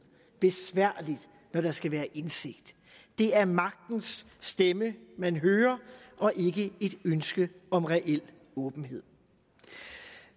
besværligt når der skal være indsigt det er magtens stemme man hører og ikke et ønske om reel åbenhed